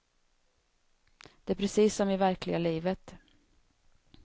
Det är precis som i verkliga livet.